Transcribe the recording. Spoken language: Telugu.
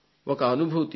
ఒక అనుభూతి